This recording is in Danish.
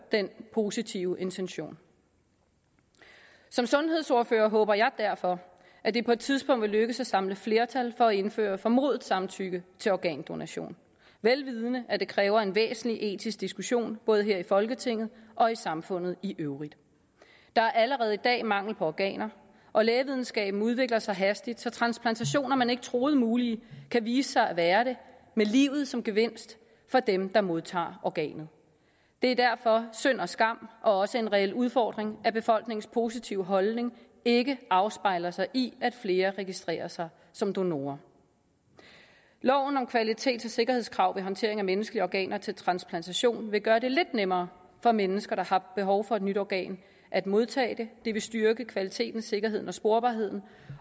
den positive intention som sundhedsordfører håber jeg derfor at det på et tidspunkt vil lykkes at samle flertal for at indføre formodet samtykke til organdonation vel vidende at det kræver en væsentlig etisk diskussion både her i folketinget og i samfundet i øvrigt der er allerede i dag mangel på organer og lægevidenskaben udvikler sig hastigt så transplantationer man ikke troede mulige kan vise sig at være det med livet som gevinst for dem der modtager organet det er derfor synd og skam og også en reel udfordring at befolkningens positive holdning ikke afspejler sig i at flere registrerer sig som donorer loven om kvalitets og sikkerhedskrav ved håndtering af menneskelige organer til transplantation vil gøre det lidt nemmere for mennesker der har behov for et nyt organ at modtage det det vil styrke kvaliteten sikkerheden og sporbarheden